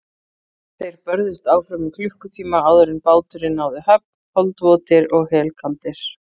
Þeir börðust áfram í klukkutíma áður en báturinn náði höfn, holdvotir og helkaldir.